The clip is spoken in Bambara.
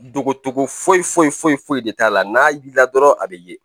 Dogo togo foyi foyi foyi foyi de t'a la n'a b'i la dɔrɔn a bɛ ye